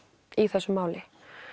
í þessu máli